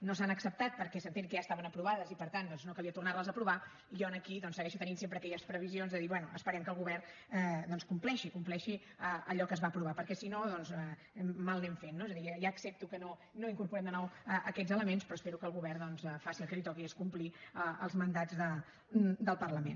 no s’han acceptat perquè s’entén que ja estaven aprovades i per tant doncs no calia tornar les a aprovar i jo aquí segueixo tenint sempre aquelles previsions de dir bé esperem que el govern compleixi compleixi allò que es va aprovar perquè si no mal anem fent no és a dir ja accepto que no incorporem de nou aquests elements però espero que el govern doncs faci el que li toqui que és complir els mandats del parlament